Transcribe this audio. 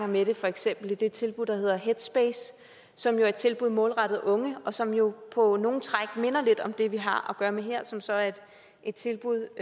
med det for eksempel i det tilbud der hedder headspace som er et tilbud målrettet unge og som jo på nogle træk minder lidt om det vi har gøre med her som så er et tilbud